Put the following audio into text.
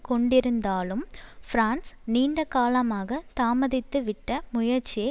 கொண்டிருந்தாலும் பிரான்ஸ் நீண்ட காலமாக தாமதித்துவிட்ட முயற்சியை